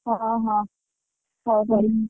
ହଁ ହଁ ହଉ କରିମି।